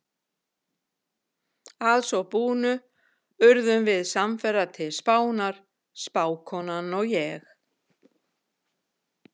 Að svo búnu urðum við samferða til Spánar, spákonan og ég.